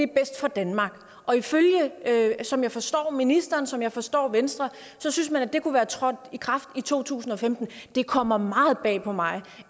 bedst for danmark og som jeg forstår ministeren og som jeg forstår venstre synes man at det kunne være trådt i kraft i to tusind og femten det kommer meget bag på mig